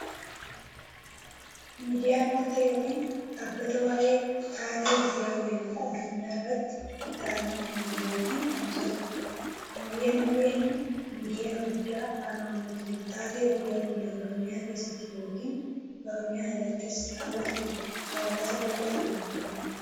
Miidiyaan wanta yookiin dhaabbata waa'ee taatee guyyaa guyyaan addunyaarratti ta'anii kan himu yookiin tamsaasudha. Miidiyaan OBN miidiyyaa guddaa afaan oromootin taatee guyyaa guyyaan oromiyaa keessatti yookiin oromiyaan alattis raawwataman haawasa bal'aa biraan gahuudha.